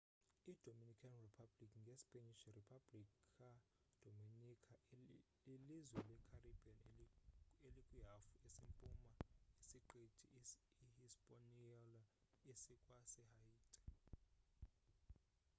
idominican republic ngespanish: república dominicana lilizwe lecaribbean elikwihafu esempuma yesiqithi ihispaniola esikwasehaiti